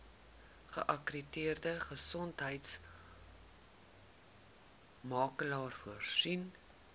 geakkrediteerde gesondheidsorgmakelaar voorsien